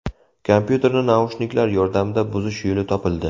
Kompyuterni naushniklar yordamida buzish yo‘li topildi.